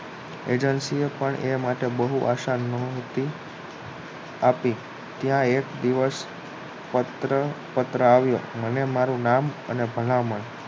agency એ પણ એ માટે બહુ આશા નોહતી આપી ત્યાં એક દિવસ પત્ર આવ્યો મને મારુ નામ અને ભલામણ